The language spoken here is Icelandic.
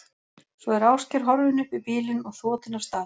Svo er Ásgeir horfinn upp í bílinn og þotinn af stað.